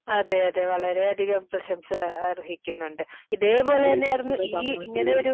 അതെ അതെ വളരെ അധികം പ്രശംസ അർഹിക്കുന്നുണ്ട് ഇതേപോലെ തന്നെ ആയിരുന്നു ഈ ഇങ്ങനെ ഒരു